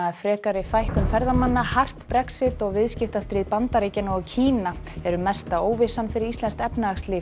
frekari fækkun ferðamanna hart Brexit og viðskiptastríð Bandaríkjanna og Kína eru mesta óvissan fyrir íslenskt efnahagslíf